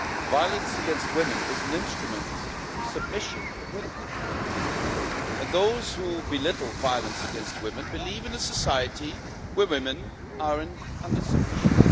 Violence against women is an instrument of submission of women, and those who belittle violence against women believe in a society where women are under submission.